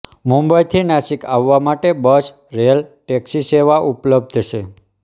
મુંબઈથી નાસિક આવવા માટે બસ રેલ ટેક્સીસેવા ઉપલબ્ધ છે